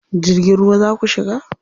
Jirgin ruwa za ku shiga?